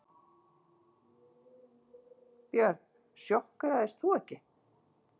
Björn: Sjokkeraðist þú ekki?